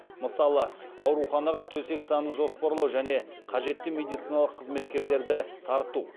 мысалы ауруханаға төсек санын жоспарлау және қажетті медициналық қызметкерлерді тарту